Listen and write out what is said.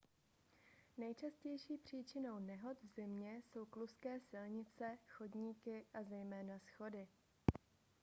nejčastější příčinou nehod v zimě jsou kluzké silnice chodníky a zejména schody